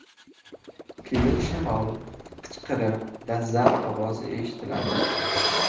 Keyin shamol, qichqiriq va zarb ovozi eshitiladi.